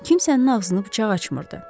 Kimsənin ağzını bıçaq açmırdı.